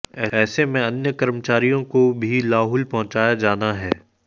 ऐसे में अन्य कर्मचारियों को भी लाहुल पहुंचाया जाना है